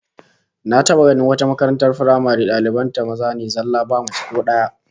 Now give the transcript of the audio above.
Na taba ganin wata makaratar firamare daliban maza ne zallah ba mace ko daya